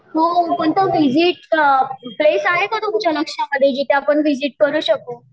हो कोणतं visit a place आहे का तुमच्या लक्षामध्ये जिथे आपण विझिट करू शकू.